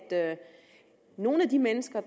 nogle af de mennesker og